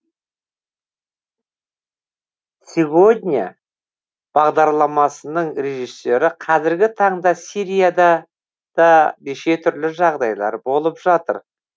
сегодня бағдарламасының режиссері қазіргі таңда сирияда да неше түрлі жағдайлар болып жатыр